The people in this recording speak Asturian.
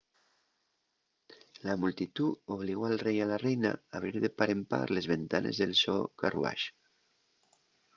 la multitú obligó al rei y la reina a abrir de par en par les ventanes del so carruax